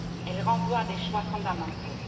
Elle renvoie à des choix fondamentaux.